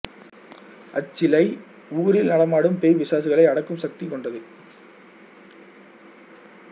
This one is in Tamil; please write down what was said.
அச்சிலை ஊரில் நடமாடும் பேய் பிசாசுகளை அடக்கும் சக்தி கொண்டது